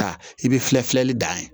Ka i bɛ filɛ filɛli dan ye